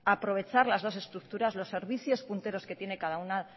aprovechar las dos estructuras los servicios punteros que tiene cada una